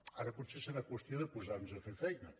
ara potser serà qüestió de posar·nos a fer feina